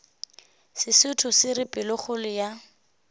sesotho se re pelokgolo ya